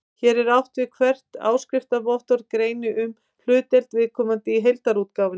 Hér er átt við að hvert áskriftarvottorð greini um hlutdeild viðkomandi í heildarútgáfunni.